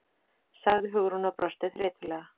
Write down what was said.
sagði Hugrún og brosti þreytulega.